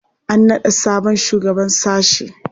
An naɗa sabon shugaban sashe.